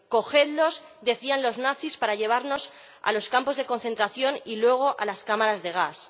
cogedlosdecían los nazis para llevarnos a los campos de concentración y luego a las cámaras de gas.